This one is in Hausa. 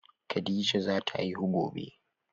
Khadijah zata haihu gobe.